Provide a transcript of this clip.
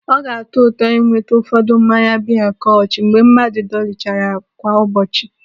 Ọ ga-atọ ụtọ ịnweta ụfọdụ mmanya biya kolsch mgbe mmadụ dọlichara kwa ụbọchị.